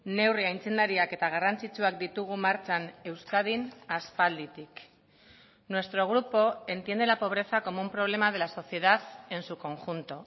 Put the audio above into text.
neurri aitzindariak eta garrantzitsuak ditugu martxan euskadin aspalditik nuestro grupo entiende la pobreza como un problema de la sociedad en su conjunto